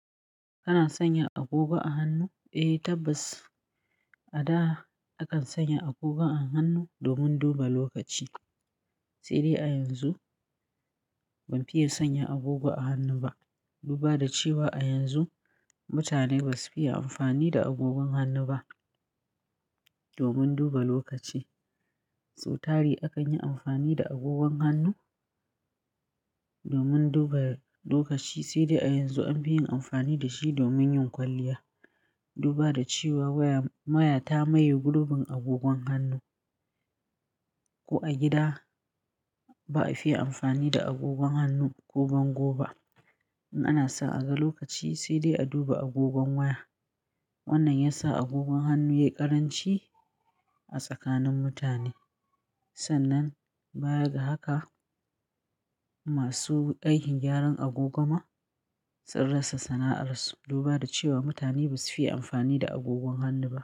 Kana sanya agogo a hannu? Eh tabbas, a da akan sanya agogo a hannu, domin duba lokaci. Sai dai a yanzu, ban fiye sanya agogo a hannu ba. Duba da cewa a yanzu mutane ba su fiye amfani da agogon hannu ba, domin duba lokaci. Sau tari akan yi amfani da agogon hannu domin duba lokaci. Sai dai a yanzu an fi yin amfani da shi domin yin kwalliya. Duba da cewa waya-- waya ta maye gurbin agogon hannu. Ko a gida ba a fiye amfani da agogon hannu ko bango ba. In ana son a ga lokaci sai dai a duba agogon waya. Wannan ya sa agogon hannu ya yi ƙaranci a tsakanin mutane. Sannan baya ga haka, masu aikin gyaran agogo ma sun rasa sana'arsu. Duba da cewa mutane ba su fiye amfani da agogon hannu ba.